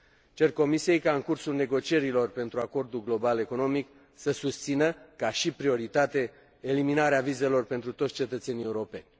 Cer Comisiei ca în cursul negocierilor pentru acordul global economic să susțină, ca și prioritate, eliminarea vizelor pentru toți cetățenii europeni.